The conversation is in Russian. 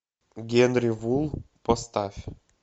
генри фул поставь